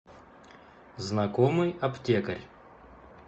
знакомый аптекарь